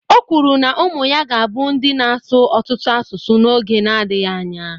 O kwuru na ụmụ ya ga-abụ ndị na-asụ ọtụtụ asụsụ n'oge na-adịghị anya